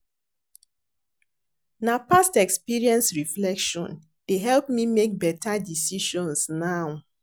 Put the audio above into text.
Na past experience reflection dey help me make beta decisions now.